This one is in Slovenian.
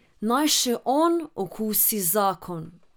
Naj še on okusi zakon!